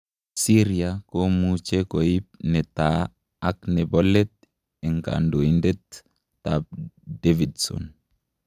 Syria komuche koip netaa ak nepo let en kandoitet ap Davidson